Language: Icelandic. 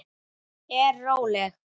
Er róleg.